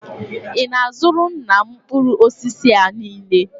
Ị na-azụra nna m mkpụrụ osisi a niile?